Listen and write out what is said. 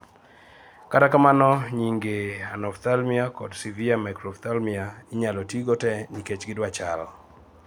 kata kamano, nyinge anophthalmia kod severe microphthalmia inyalo tii go te nikech gidwa chal